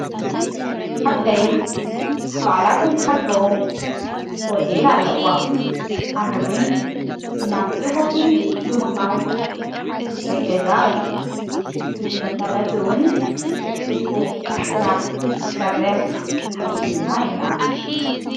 ሓብተይ ባዕላቶ መሐድሮ ዎቴል ኣለዋ ኣነውን ናብቲ ዎቴል ብምቓድ ክሕገዛ እየ ብዝመሠረትውን ጽቡቕ ሥራሕ ክንሠርሕ ኪኢልና ኢና።